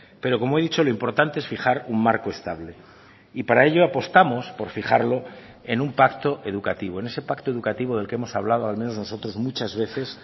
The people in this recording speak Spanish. pero como he dicho lo importante es fijar un marco estable y para ello apostamos por fijarlo en un pacto educativo en ese pacto educativo del que hemos hablado al menos nosotros muchas veces